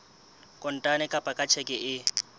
kontane kapa ka tjheke e